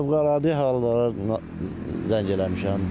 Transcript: Fövqəladə hallara zəng eləmişəm.